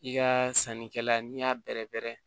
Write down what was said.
I ka sannikɛla n'i y'a bɛrɛbɛrɛ